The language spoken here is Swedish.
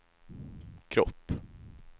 kropp